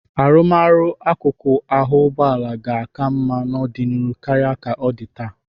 Arụmọrụ akụkụ ahụ ụgbọala ga-aka mma n'ọdịnihu karịa ka ọ dị taa.